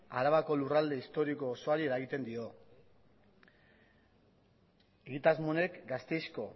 arabako lurralde historiko osoari eragiten dio egitasmo honek gasteizko